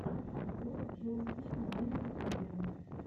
открой джо спина на ютюбе